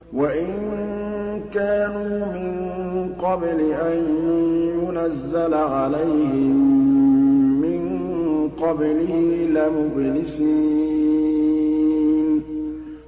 وَإِن كَانُوا مِن قَبْلِ أَن يُنَزَّلَ عَلَيْهِم مِّن قَبْلِهِ لَمُبْلِسِينَ